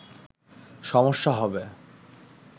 সমস্যা হবে